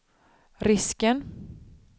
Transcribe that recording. risken